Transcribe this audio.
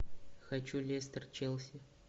хочу лестер челси